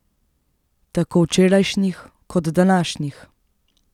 Tako včerajšnjih kot današnjih.